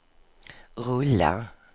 rulla